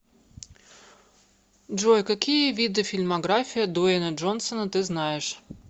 джой какие виды фильмография дуэйна джонсона ты знаешь